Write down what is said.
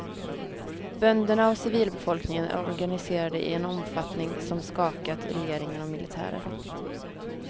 Bönderna och civilbefolkningen är organiserade i en omfattning som skakat regeringen och militären.